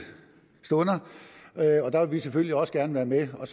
stunder og der vil vi selvfølgelig også gerne være med og